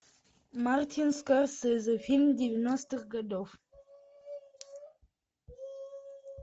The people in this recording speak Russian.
мартин скорсезе фильм девяностых годов